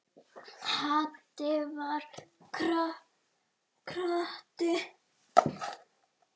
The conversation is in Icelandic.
Haddi var krati.